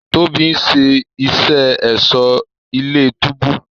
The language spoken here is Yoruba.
Tóbi ń ṣe iṣé Ẹ̀ṣọ́ ilé-túbú